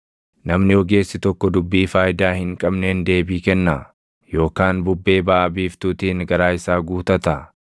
“Namni ogeessi tokko dubbii faayidaa hin qabneen deebii kennaa? Yookaan bubbee baʼa biiftuutiin garaa isaa guutataa?